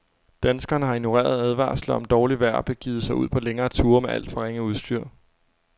Danskerne har ignoreret advarsler om dårligt vejr og begivet sig ud på længere ture med alt for ringe udstyr.